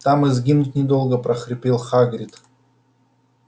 там и сгинуть недолго прохрипел хагрид